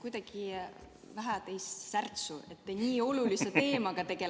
Kuidagi vähe on teis särtsu, kuigi tegelete nii olulise teemaga.